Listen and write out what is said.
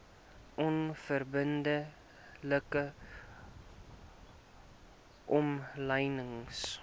onverbidde like omlynings